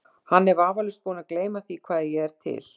Hann er vafalaust búinn að gleyma því, að ég er til.